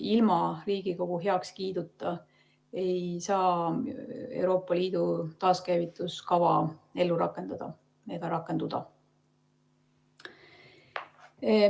Ilma Riigikogu heakskiiduta ei saa Euroopa Liidu taaskäivitamise kava ellu rakendada ega rakenduda.